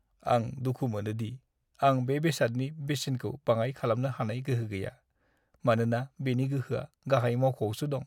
आं दुखु मोनो दि आं बे बेसादनि बेसेनखौ बाङाइ खालामनो हानाय गोहो गैया, मानोना बेनि गोहोआ गाहाय मावख'आवसो दं।